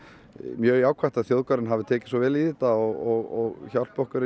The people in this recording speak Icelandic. mjög jákvætt að þjóðgarðurinn hafi tekið svona vel í þetta og hjálpi okkur